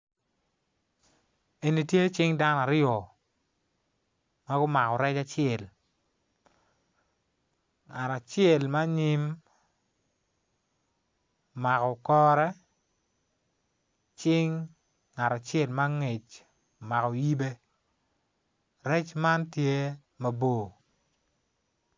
Eni tye cing dano aryo ma gumako rec acel ngat acel ma anyim omako kore cing ngat acel ma angec omako yibe rec man tye mabor.